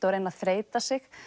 og reyna að þreyta sig